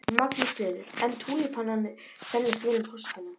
Magnús Hlynur: En túlípanarnir seljast vel um páskana?